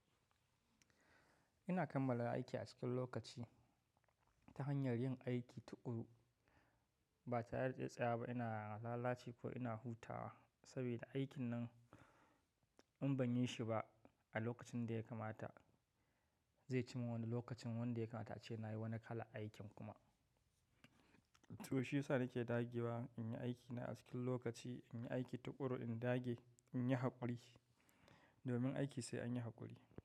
Ina kammala aiki a cikin lokaci ta hanyar yin aiki tuƙuru ba ta reda tsayawaba ba. Ina lalace ko ina hutawa saboda aikin nan in ban yi shi ba a lokacin da ya kamata zai ci min wani lokacin wanda ya kamata ce nayi wani kalan aikin kuma. To shi yasa nake dagewa in yi aikina a cikin lokaci, in yi aiki tuƙuru, in dage in yi haƙuri domin aiki sai an yi haƙuri.